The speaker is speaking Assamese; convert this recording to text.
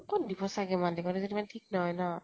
কʼত দিব ছাগে মালিকহঁত ইমান ঠিক নহয় ন